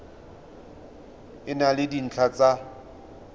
e na le dintlha tsa